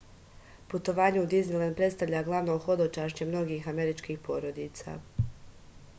putovanje u diznilend predstavlja glavno hodočašće mnogih američkih porodica